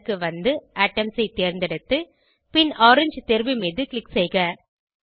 colour க்கு வந்து items ஐ தேர்ந்தெடுத்து பின் ஓரங்கே தேர்வு மீது க்ளிக் செய்க